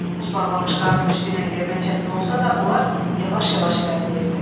Buz bağlamış qarın üstü ilə yerimək çətin olsa da, onlar yavaş-yavaş irəliləyirdi.